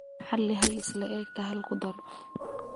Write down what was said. xalli hal isla'egta hal ku dar